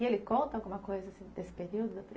E ele conta alguma coisa desse período?